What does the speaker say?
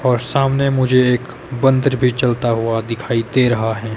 और सामने मुझे एक बंदर भी चलता हुआ दिखाई दे रहा है।